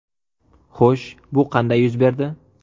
Xo‘sh, bu qanday yuz berdi?